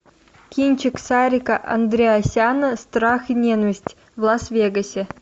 кинчик сарика андреасяна страх и ненависть в лас вегасе